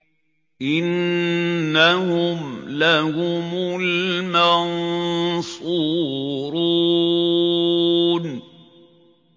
إِنَّهُمْ لَهُمُ الْمَنصُورُونَ